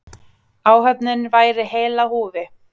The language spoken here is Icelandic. Áhöfnin væri heil á húfi.